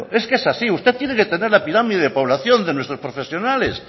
es que es así usted tiene que tener la pirámide de población de nuestros profesionales